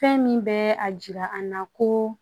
Fɛn min bɛ a jira an na ko